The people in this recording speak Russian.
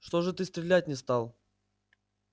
что же ты стрелять не стал